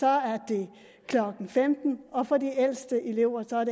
er det klokken femten og for de ældste elever